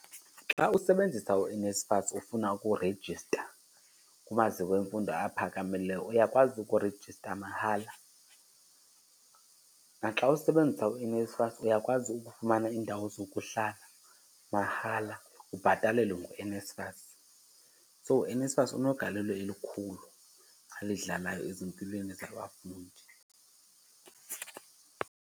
Xa usebenzisa uNSFAS ufuna ukurejista kumaziko emfundo aphakamileyo uyakwazi ukurejistra mahala. Naxa usebenzisa uNSFAS uyakwazi ukufumana iindawo zokuhlala mahala ubhatalelwe nguNSFAS, so uNSFAS unegalelo elikhulu alidlalayo ezimpilweni zabafundi.